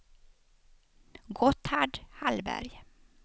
Gotthard Hallberg